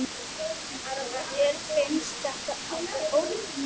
Mér finnst þetta alveg ótrúlegt